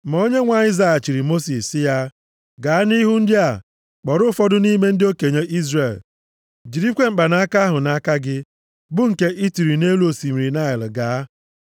Ma Onyenwe anyị zaghachiri Mosis, sị ya, “Gaa nʼihu ndị a, kpọrọ ụfọdụ nʼime ndị okenye Izrel. Jirikwa mkpanaka ahụ nʼaka gị, bụ nke i tiri nʼelu osimiri Naịl gaa.